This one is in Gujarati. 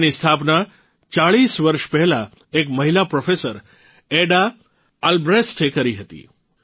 તેના સ્થાપના ૪૦ વર્ષ પહેલાં એક મહિલા પ્રોફેસર એડા અલબ્રેસ્ટે કરી હતી